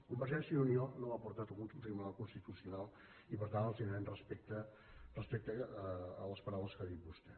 convergència i unió no ho portat al tribunal constitucional i per tant els demanem respecte respecte a les paraules que ha dit vostè